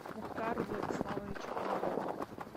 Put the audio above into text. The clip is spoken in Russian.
мухтару владиславовичу комарову